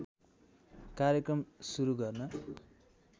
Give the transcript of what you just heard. कार्यक्रम सुरु गर्न